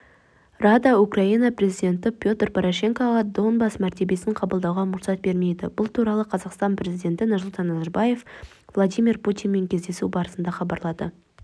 рада украина президенті петр порошенкоға донбасс мәртебесін қабылдауға мұрсат бермейді бұл туралы қазақстан президенті нұрсұлтан назарбаев владимир путинмен кездесу барысында хабарлады